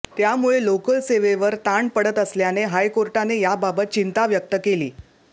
त्यामुळे लोकल सेवेवर ताण पडत असल्याने हायकोर्टाने याबाबत चिंता व्यक्त केली